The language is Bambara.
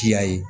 Kiya ye